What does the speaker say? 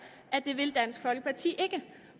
at det vil dansk folkeparti ikke